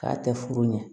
K'a tɛ furu ɲɛ